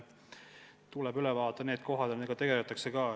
Tuleb üle vaadata probleemsed kohad ja nendega tegeldakse ka.